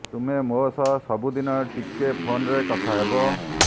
ତୁମେ ମୋ ସହ ସବୁଦିନ ଟିକେ ଫୋନରେ କଥା ହେବ